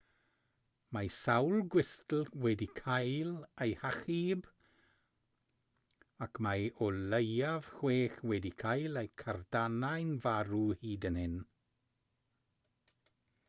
mae sawl gwystl wedi cael eu hachub ac mae o leiaf chwech wedi cael eu cadarnhau'n farw hyd yn hyn